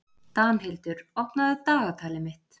Danhildur, opnaðu dagatalið mitt.